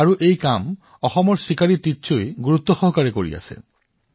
আজি এই কাম অসমৰ বাসিন্দা চিকাৰী টিচৌয়ে যথেষ্ট অধ্যৱসায়ৰ সৈতে কৰি আছে